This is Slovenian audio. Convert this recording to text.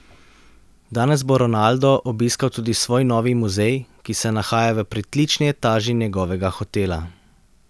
Danes bo Ronaldo obiskal tudi svoj novi muzej, ki se nahaja v pritlični etaži njegovega hotela.